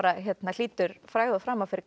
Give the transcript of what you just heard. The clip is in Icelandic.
hlýtur frægð og frama fyrir